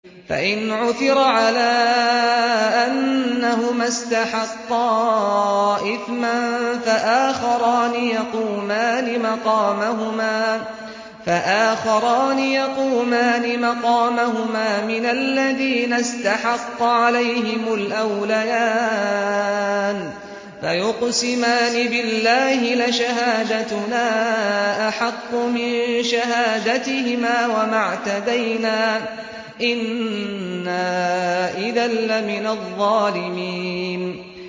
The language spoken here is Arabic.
فَإِنْ عُثِرَ عَلَىٰ أَنَّهُمَا اسْتَحَقَّا إِثْمًا فَآخَرَانِ يَقُومَانِ مَقَامَهُمَا مِنَ الَّذِينَ اسْتَحَقَّ عَلَيْهِمُ الْأَوْلَيَانِ فَيُقْسِمَانِ بِاللَّهِ لَشَهَادَتُنَا أَحَقُّ مِن شَهَادَتِهِمَا وَمَا اعْتَدَيْنَا إِنَّا إِذًا لَّمِنَ الظَّالِمِينَ